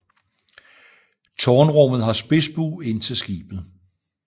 Tårnrummet har spidsbue ind til skibet